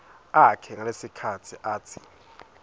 akhe ngalesikhatsi atsi